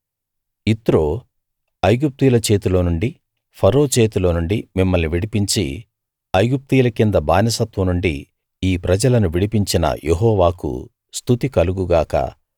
యిత్రో ఐగుప్తీయుల చేతిలో నుండి ఫరో చేతిలో నుండి మిమ్మల్ని విడిపించి ఐగుప్తీయుల కింద బానిసత్వం నుండి ఈ ప్రజలను విడిపించిన యెహోవాకు స్తుతి కలుగు గాక